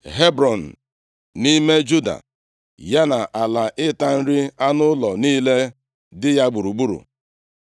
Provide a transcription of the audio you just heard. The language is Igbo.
Hebrọn, nʼime Juda, ya na ala ịta nri anụ ụlọ niile dị ya gburugburu.